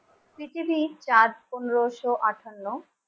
পৃথিবী চার পনেরোশো আটান্ন